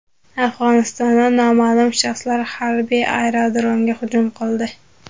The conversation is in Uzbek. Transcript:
Afg‘onistonda noma’lum shaxslar harbiy aerodromga hujum qildi.